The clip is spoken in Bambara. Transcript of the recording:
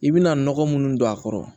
I bɛna nɔgɔ munnu don a kɔrɔ